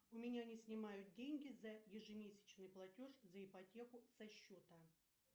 у меня не снимают деньги за ежемесячный платеж за ипотеку со счета